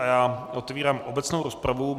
A já otevírám obecnou rozpravu.